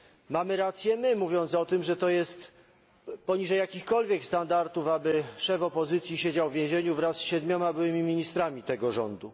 Mamy rację my, mówiąc o tym, że to jest poniżej jakichkolwiek standardów, aby szef opozycji siedział w więzieniu wraz z siedmioma byłymi ministrami tego rządu.